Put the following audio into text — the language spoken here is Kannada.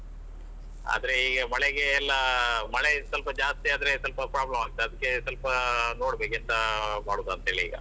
ಆದ್ರೆ ಈಗ ಮಳೆಗೆ ಎಲ್ಲಾ ಮಳೆ ಸ್ವಲ್ಪ ಜಾಸ್ತಿ ಆದ್ರೆ ಸ್ವಲ್ಪ problem ಆಗ್ತದೆ ಅದಕ್ಕೆ ಸ್ವಲ್ಪ ನೋಡ್ಬೇಕು ಎಂತಾ ಮಾಡುದೆಂತೇಳಿ ಈಗ.